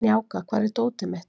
Snjáka, hvar er dótið mitt?